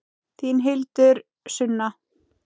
Þín Hildur Sunna.